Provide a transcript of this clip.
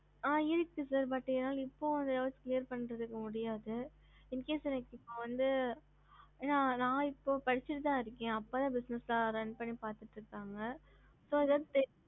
ஹம்